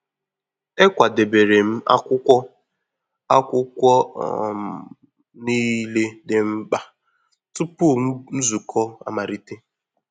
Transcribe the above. Ekwadebere m akwụkwọ akwụkwọ um niile dị mkpa tupu nzukọ amalite